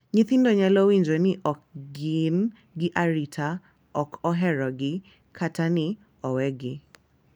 Nyithindo nyalo winjo ni ok gin gi arita, ok oherogi, kata ni owegi,